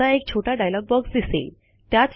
आता एक छोटा डायलॉग बॉक्स दिसेल